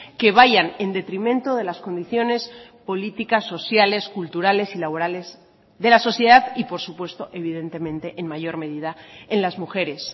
que vayan en detrimento de las condiciones políticas sociales culturales y laborales de la sociedad y por supuesto evidentemente en mayor medida en las mujeres